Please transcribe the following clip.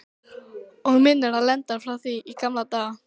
Og minnir á Lenu frá því í gamla daga.